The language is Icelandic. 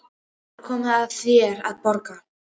Nú er komið að þér að borga.